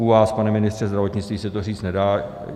U vás, pane ministře zdravotnictví, se to říct nedá.